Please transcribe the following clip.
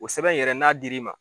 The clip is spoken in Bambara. O sɛbɛn in yɛrɛ n'a dir'i ma